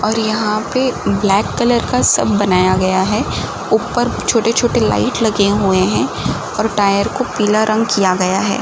और यहाँ पे ब्लैक कलर का सब बनाया गया है। ऊपर छोटे छोटे लाइट लगे हुए हैं और टायर को पीला रंग किया गया है।